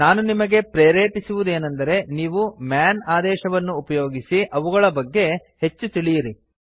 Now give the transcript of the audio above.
ನಾನು ನಿಮಗೆ ಪ್ರೇರೇಪಿಸುವುದೇನೆಂದರೆ ನೀವು ಮನ್ ಆದೇಶವನ್ನು ಉಪಯೋಗಿಸಿ ಅವುಗಳ ಬಗ್ಗೆ ಹೆಚ್ಚು ತಿಳಿಯಿರಿ